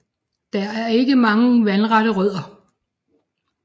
Der er ikke mange vandrette rødder